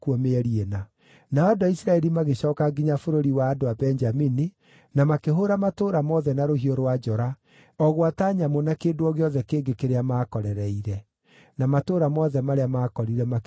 Nao andũ a Isiraeli magĩcooka nginya bũrũri wa andũ a Benjamini na makĩhũũra matũũra mothe na rũhiũ rwa njora, o gwata nyamũ na kĩndũ o gĩothe kĩngĩ kĩrĩa maakorereire. Na matũũra mothe marĩa maakorire makĩmacina na mwaki.